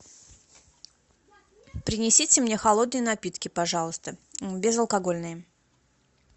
принесите мне холодные напитки пожалуйста безалкогольные